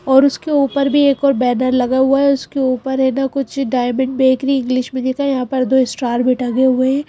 और उसके ऊपर भी एक और बैनर लगा हुआ है उसके ऊपर है ना कुछ डायमंड बेकरी इंग्लिश में लिखा है यहां पर दो स्टार भी टंगे हुए हैं।